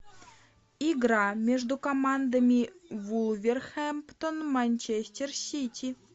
игра между командами вулверхэмптон манчестер сити